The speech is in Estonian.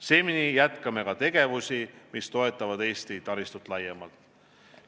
Seni jätkame ka tegevusi, mis toetavad Eesti taristut laiemalt.